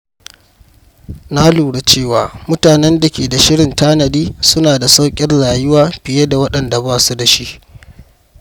Na lura cewa mutanen da ke da shirin tanadi suna da sauƙin rayuwa fiye da waɗanda ba su da shi.